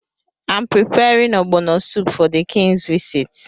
I’m preparing Ogbono soup for the King’s visit.